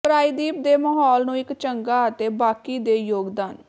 ਪ੍ਰਾਇਦੀਪ ਦੇ ਮਾਹੌਲ ਨੂੰ ਇੱਕ ਚੰਗਾ ਅਤੇ ਬਾਕੀ ਦੇ ਯੋਗਦਾਨ